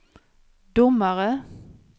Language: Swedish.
domare